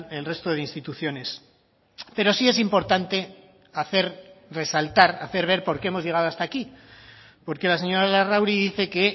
el resto de instituciones pero sí es importante hacer resaltar hacer ver por qué hemos llegado hasta aquí porque la señora larrauri dice que